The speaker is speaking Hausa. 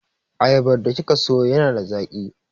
Ayabar da kika sayo yana da zaƙi.